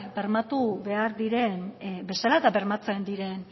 bermatu behar diren bezala eta bermatzen diren